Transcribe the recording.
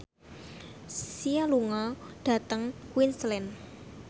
Sia lunga dhateng Queensland